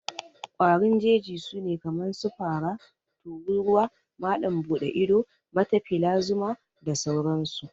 ƙwarin Jeji sune kaman su, Fara, Tururuwa, Malam bude ido, Matafila zuma, da sauran su